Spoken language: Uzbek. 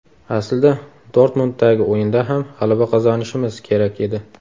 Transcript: Aslida Dortmunddagi o‘yinda ham g‘alaba qozonishimiz kerak edi.